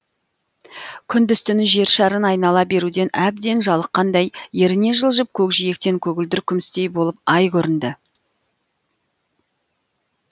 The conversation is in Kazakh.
күндіз түні жер шарын айнала беруден әбден жалыққандай еріне жылжып көкжиектен көгілдір күмістей болып ай көрінді